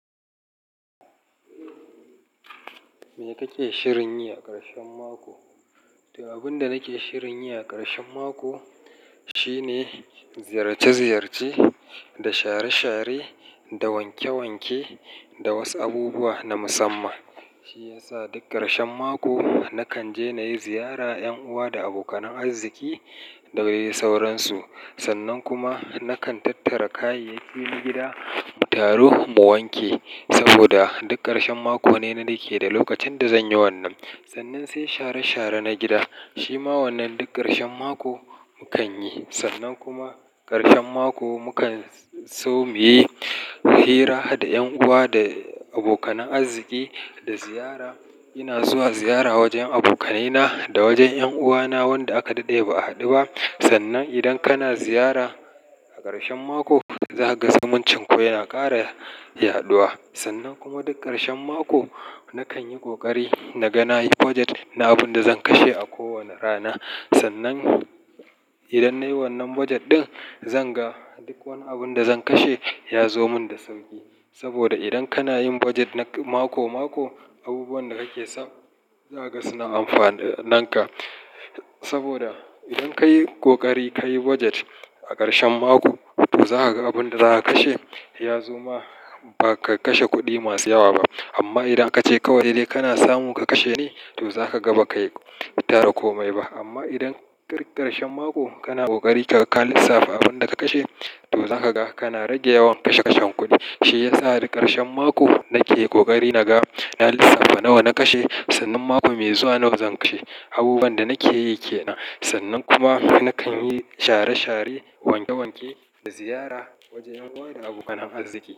Me kake shirin yi a ƙarshen mako? To, abun da nake shirin yi a ƙarshen mako shine ziyarce-ziyarce da share-share, da wanke-wanke, da wasu abubuwa na musamman. Shi ya sa duk ƙarshen mako nakan je na yi ziyara 'yan uwa da abokanan arziki da wai sauransu. Sannan kuma nakan tattara kayayyaki na gida, mu taru mu wanke. Saboda duk ƙarshen mako ne nake da lokacin da zan yi wannan. Sannan sai share share na gida. Shi ma wannan duk ƙarshen mako mukan yi. Sannan kuma ƙarshen mako mukan so mu yi hira da 'yan uwa da abokanan arziki da ziyara. Ina zuwa ziyara wajen abokanai na da wajen yan'uwana wanda aka daɗe ba'a haɗu ba. Sannan idan kana ziyara a ƙarshen mako, za ka ga zumuncin ku yana ƙara yaɗuwa. Sannan kuma duk ƙarshen mako nakan yi ƙoƙari naga na yi budget na abun da zan kashe a kowani rana. Sannan idan nayi wannan budget ɗin, zan ga duk wani abun da zan kashe ya zo mun da sauƙi. Saboda idan kana yin budget na mako-mako, abubuwan da kake samu za ka ga suna amfana nanka. Saboda idan ka yi ƙoƙari ka yi budget a ƙarshen mako, to za ka ga abin da za a kashe ya zo5ma ba ka kashe kuɗi masu yawa ba. Amma idan ka ce kawai he dai kana samu ka kashe ne, to za ka ga ba ka yi tara komai ba. Amma idan ƙarf ƙarshen mako kana ƙoƙari ka lissafa abun da ka kashe, to za ka ga kana rage yawan kashe-kashen kuɗi. Shi ya sa duk ƙarshen mako nake ƙoƙari na ga, na lissafa nawa na kashe. Sannan mako mai zuwa nawa zan kashe. Abubuwan da nake yi ke nan. Sannan kuma nakan yi share-share, wanke-wanke da ziyara wajen ƴan uwa da abokanan arziki.